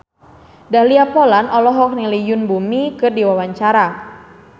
Dahlia Poland olohok ningali Yoon Bomi keur diwawancara